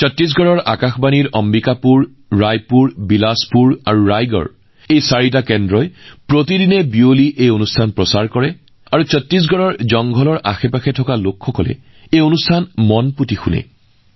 ছত্তীশগড়ত all India radio Ambikapur Raipur Bilaspur আৰু ৰায়গড়ৰ চাৰিটা কেন্দ্ৰৰ পৰা প্ৰতি সন্ধিয়া এই অনুষ্ঠান সম্প্ৰচাৰিত হয় আৰু আপুনি জানি আচৰিত হব যে ছত্তীশগড়ৰ বনাঞ্চল আৰু দাঁতিকাষৰীয়া অঞ্চলত বসবাস কৰা লোকসকলে এই অনুষ্ঠানটো অতি মনোযোগেৰে শুনে